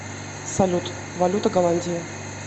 салют валюта голландии